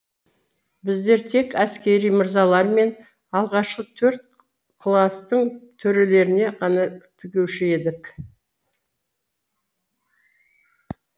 біздер тек әскери мырзалар мен алғашқы төрт класстың төрелеріне ғана тігуші едік